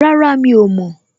Rárá, Mi ò mọ̀.